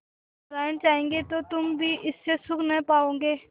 नारायण चाहेंगे तो तुम भी इससे सुख न पाओगे